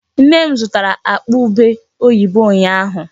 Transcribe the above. Nne m zụtara akpa ubé oyibo ụnyaahụ.